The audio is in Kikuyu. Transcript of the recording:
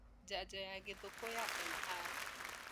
njanjo ya gĩthũkũ ya MR